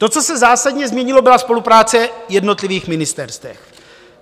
To, co se zásadně změnilo, byla spolupráce jednotlivých ministerstev.